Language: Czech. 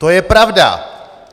To je pravda!